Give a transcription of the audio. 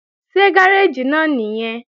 Ṣé gáréèjì náà nìyẹn?